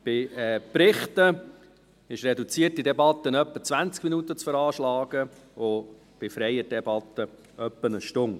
Bei Berichten sind für die reduzierte Debatte etwa 20 Minuten zu veranschlagen, und bei freier Debatte etwa eine Stunde.